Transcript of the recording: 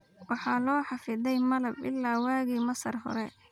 Waxa loo xafiday malab ilaa waagii Masar hore.